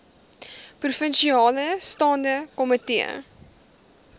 provinsiale staande komitee